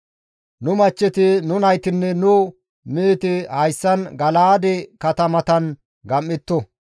Nu machcheti, nu naytinne nu meheti hayssan Gala7aade katamatan gam7etto.